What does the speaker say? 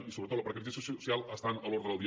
i sobretot la precarització social està a l’ordre del dia